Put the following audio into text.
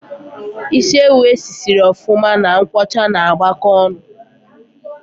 Ịsị ewu e si sịrị ofuma na nkwocha ná agbako ọṅụ